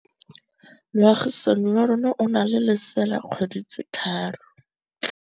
Moagisane wa rona o na le lesea la dikgwedi tse tlhano.